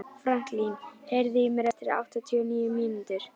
Franklín, heyrðu í mér eftir áttatíu og níu mínútur.